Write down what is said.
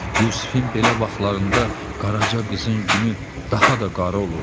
Yusifin belə vaxtlarında Qaraca qızın günü daha da qara olurdu.